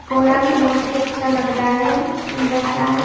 घोड़ा भी बहुत ही अच्छा लग रहा है सुंदर सा है।